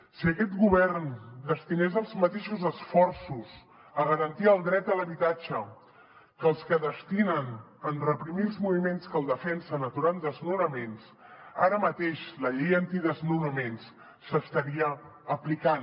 si aquest govern destinés els mateixos esforços a garantir el dret a l’habitatge que els que destinen a reprimir els moviments que el defensen aturant desnonaments ara mateix la llei antidesnonaments s’estaria aplicant